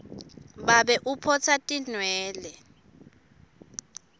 babe uphotsa atinwele